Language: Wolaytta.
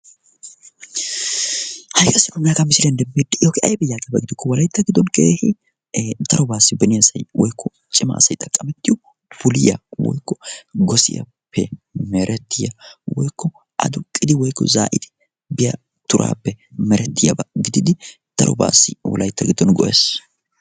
haigaassinoomanaaka misiriyan demmeetdi iyoogi aibi yaaqeabaa gidokko walaitta giddon keehi tarobaassi beniyaasai woikko cimaasai xaqqamettiyo puliya woikko gosiyaappe merettiyaa woikko a duqqidi woikko zaa7iti biya turaappe merettiyaabaa gididi darobaassi wolaitta giddon goees